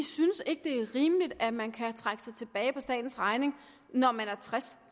ikke synes det er rimeligt at man kan trække sig tilbage på statens regning når man er tres